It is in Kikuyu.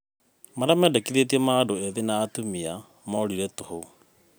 marĩa mendekithetio ma andũ ethĩ na atumia morĩrĩ toho.